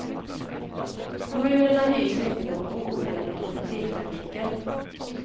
Kommunerna hyser inte någon ovilja mot kollektivtrafiken.